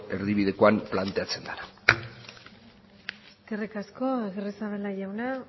erdibidekoan planteatzen dena eskerrik asko agirrezabala jauna